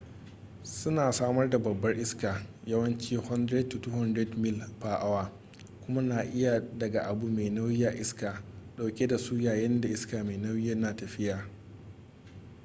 suna samar da babban iska yawanci 100-200 mil/awa kuma na iya daga abu mai nauyi a iska dauke da su yayinda iska mai nauyi na tafiya